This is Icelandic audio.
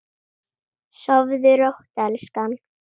Sofðu rótt elskan.